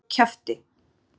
Haldiði svo kjafti!